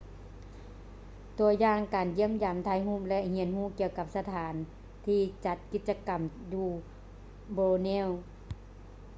ຕົວຢ່າງການຢ້ຽມຢາມ ຖ່າຍຮູບ ແລະ ຮຽນຮູ້ກ່ຽວກັບສະຖານທີ່ຈັດກິດຈະກຳຢູ່ borneo